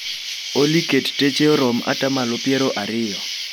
Olly ket teche orom atamalo piero ariyo